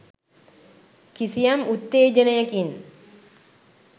කිසියම් උත්තේජනයකින්